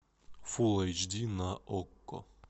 фулл эйч ди на окко